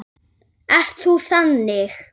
Ert þú þannig?